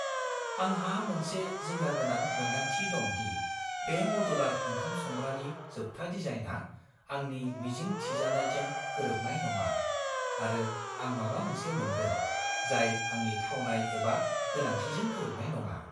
आंहा मोनसे जिंगागोनां मोन्दांथि दं दि बे मदुलार ओंखाम संग्रानि जोबथा डिजाइनआ आंनि मिजिं थिजानायजों गोरोबनाय नङा, आरो आं माबा मोनसे मोनगोन, जाय आंनि थावनाय एबा गोनांथिजों गोरोबनाय नङा।